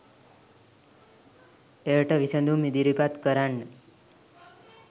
එයට විසදුම් ඉදිරිපත් කරන්න.